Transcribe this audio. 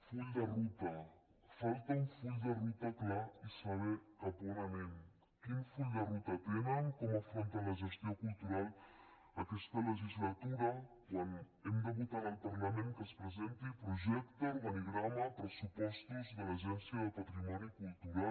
full de ruta falta un full de ruta clar i saber cap a on anem quin full de ruta tenen com afronten la gestió cultural aquesta legislatura quan hem de votar en el parlament que es presenti projecte organigrama i pressupostos de l’agència de patrimoni cultural